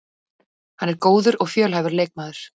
Hann er góður og fjölhæfur leikmaður